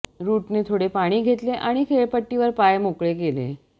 रुटने थोडे पाणी घेतले आणि खेळपट्टीवर पाय मोकळे केले